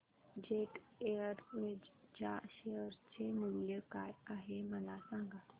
jet Airways च्या share चे मूल्य काय आहे मला सांगा